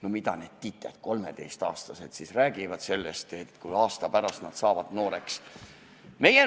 No mida need tited, 13-aastased, siis räägivad sellest, mis saab, kui nad aasta pärast saavad nooreks?